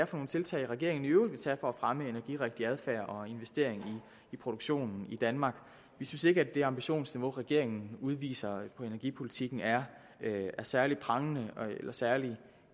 for nogle tiltag regeringen i øvrigt vil tage for at fremme energirigtig adfærd og investering i produktionen i danmark vi synes ikke at det ambitionsniveau som regeringen udviser i energipolitikken er særlig prangende eller særlig